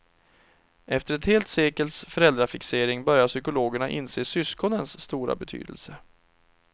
Efter ett helt sekels föräldrafixering börjar psykologerna inse syskonens stora betydelse.